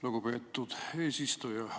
Lugupeetud eesistuja!